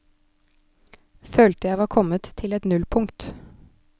Følte jeg var kommet til et nullpunkt.